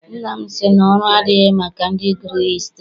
Nna m sị na ọrụ adịghị maka ndị gụrụ hịstrị.